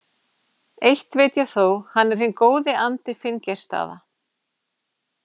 Eitt veit ég þó: hann er hinn góði andi Finngeirsstaða.